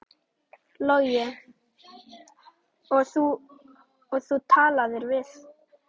Logi: Og þú talaðir við?